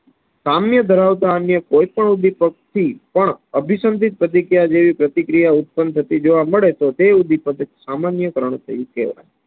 સામ્ય ધરાવતા અન્ય કોઈપણ ઉદીપક થી પણ અભિસાન્દીપ પ્રતિક્રિયા જેવી પ્રતિક્રિયા ઉત્પન્ન થતી જોવા મળે છે. તોતે ઉદીપક સામાન્ય કરણ કરયુ કહેવાય